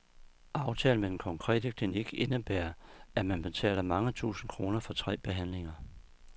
Aftalen med den konkrete klinik indebærer, at man betaler mange tusind kroner for tre behandlinger.